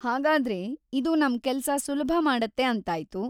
ಹಾಗಾದ್ರೆ, ಇದು ನಮ್ ಕೆಲ್ಸ ಸುಲಭ‌ ಮಾಡತ್ತೆ ಅಂತಾಯ್ತು.